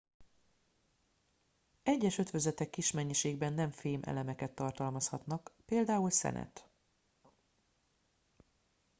egyes ötvözetek kis mennyiségben nem fém elemeket tartalmazhatnak például szenet